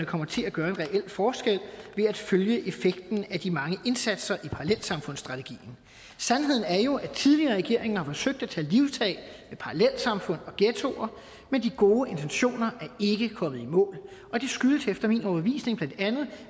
kommer til at gøre en reel forskel ved at følge effekten af de mange indsatser i parallelsamfundsstrategien sandheden er jo at tidligere regeringer forsøgte at tage livtag med parallelsamfund og ghettoer men de gode intentioner er ikke kommet i mål og det skyldes efter min overbevisning